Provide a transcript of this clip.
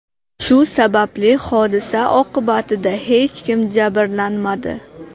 Shu sababli hodisa oqibatida hech kim jabrlanmadi.